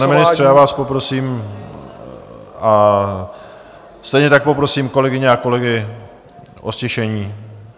Pane ministře, já vás poprosím - a stejně tak poprosím kolegyně a kolegy o ztišení.